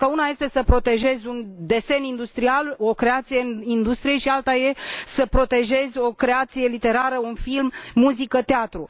Pentru că una este să protejezi un desen industrial, o creație în industrie și alta este să protejezi o creație literară, de film, de muzică, de teatru.